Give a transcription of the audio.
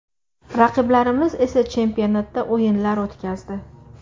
Raqiblarimiz esa chempionatda o‘yinlar o‘tkazdi.